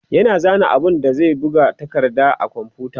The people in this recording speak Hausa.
yana zana abun da zai buga a takardar a komfuta